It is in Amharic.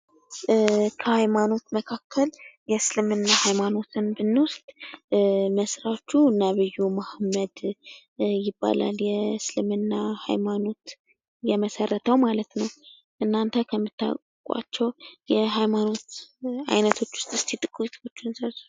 ከሀይማኖት መካከል የእስልምና ሀይማኖትን ብንወስድ መስራቹ ነቢዩ መሀመድ ይባላል። የእስልምና ሀይማኖት የመሰረተው ማለት ነው። እናንተ ከምታውቋቸው የህይማኖት አይነቶች ውስጥ እስኪ ጥቂቶቹን ዘርዝሩ።